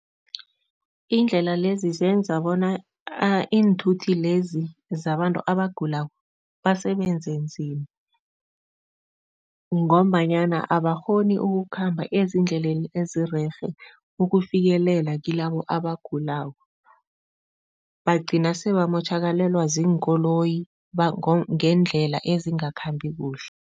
Iindlela lezi zenza bona iinthuthi lezi zabantu abagulako basebenze nzima ngombanyana abakghoni ukukhamba ezindleleni ezirerhe ukufikelela kilabo abagulako, bagcina sebamotjhakalelwa ziinkoloyi ngeendlela ezingakhambi kuhle.